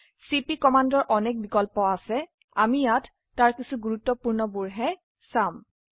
চিপি কমান্ডৰ অনেক বিকল্প আছে আমি ইয়াত তাৰ কিছো গুৰুত্বপূৰ্ণ বোৰ হে চাম